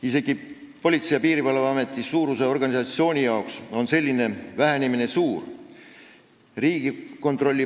Isegi Politsei- ja Piirivalveameti suuruses organisatsioonis on selline vähenemine suur.